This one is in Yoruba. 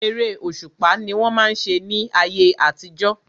Eré òṣùpá ni wọ́n máa ń ṣe ní ayé àtijọ́.